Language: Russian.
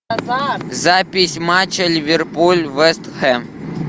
запись матча ливерпуль вест хэм